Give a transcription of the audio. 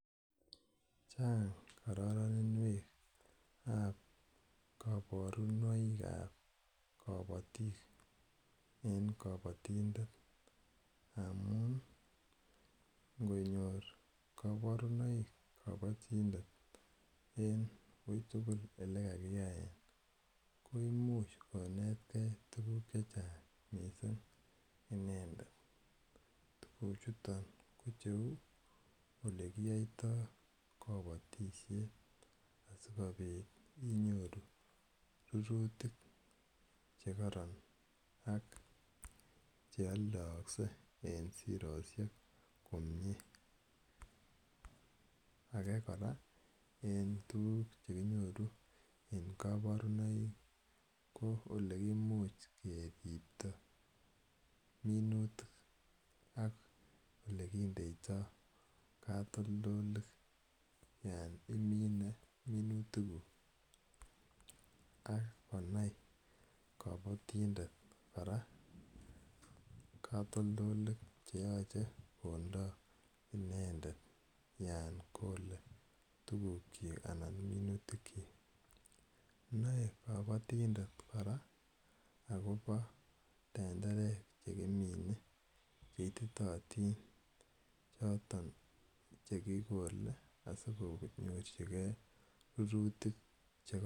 Chang' kararaninwek ap kaparunoik ap kapatik en kapatindet amun ngonyor kaparunoik kapatindetben wui tugul ele kakiyaen komuch konetgei tuguk che chang' missing' inendet. Tuguchuton ko cheu ole kiyaitai kapatishet asikopit inyoru rurutik che kararan ak chealdaakse en siroshek komye. Age kora en tuguk che kinyoru en kaparunoik ko ole kimuch keripta minutik ak ole kindeitai katoltolik yan imine minutikuk. Kakonai kapatindet klra katoltolik che yache kondai inedet yan kole tugukchik anan minutikchik. Nae kapatindet kora akopa tenderek che kimine che ititaatin choton che kikole asiko nyorchigei rurutik che kararan.